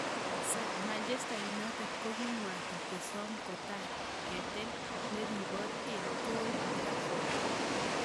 (Sun) Manchester United kikomwaita kosom kotai ketel neribot eng Old Trafford.